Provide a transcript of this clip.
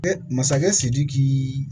masakɛ sidiki